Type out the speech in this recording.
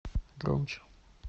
громче